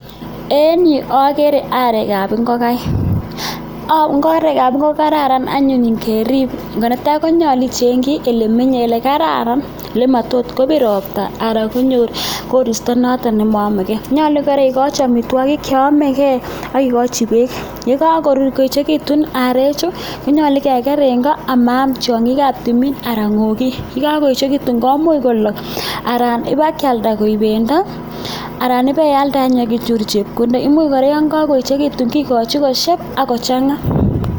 En yu ogere arekab ngokaik. Arek ab ngokaik ko kararan anyun ngerib. Netai konyolu ichengi ole menye ole kararan ole motot kobir ropta anan konyor koristo noto nemoyomege. Nyolu kora igochi amitwogik che ome gee ak igochi beek, ye kagoechigitun arechu konyolu keger en go ama am tiong'ik ab timin anan ng'ogik. Ye kagoechegitu komuch kolok anan iba kealda koik bendo anan ibealda ak inyoru chepkondok. Imuch kora yon kogoechegitun kigochi kosieb ak ko chang'a.